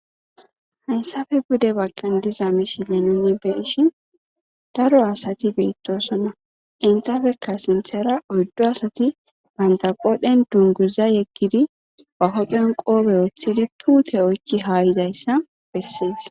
hunsafe bude bagken diza mishile nuni be ishin daro asati beettosonna intafekka sinthera oddu asati bantaqoodhen dunguza yeggidi bahodhen qoobe ooththidi puute oykki haayizayssa bessees